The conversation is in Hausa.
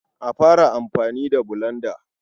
A fara amfani da bulanda.